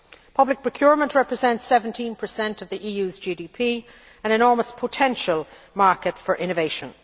Public procurement represents 17 of the EU's GDP, an enormous potential market for innovation.